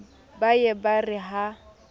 ba ye ba re ha